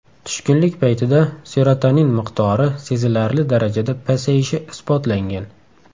Tushkunlik paytida serotonin miqdori sezilarli darajada pasayishi isbotlangan.